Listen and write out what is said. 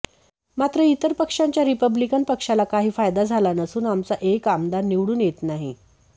मात्र इतर पक्षांचा रिपब्लीकन पक्षाला काही फायदा झाला नसून आमचा एक आमदार निवडून येत नाही